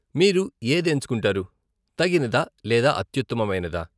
మీరు ఏది ఎంచుకుంటారు, తగినదా లేదా అత్యుత్తమమైనదా?